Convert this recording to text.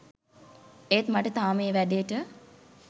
ඒත් මට තාම ඒ වැඩේට